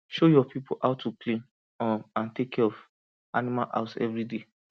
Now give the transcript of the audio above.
show your people how to clean um and take care of animal house every day